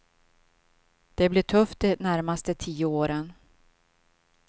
Det blir tufft de närmaste tio åren.